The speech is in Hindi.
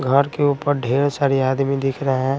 घर के ऊपर ढेर सारे आदमी दिख रहे हैं।